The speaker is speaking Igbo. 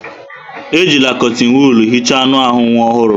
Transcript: Ejila kọtịn wọọl hicha anụ ahụ nwa ọhụrụ.